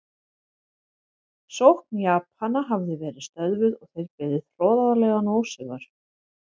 Sókn Japana hafði verið stöðvuð og þeir beðið hroðalegan ósigur.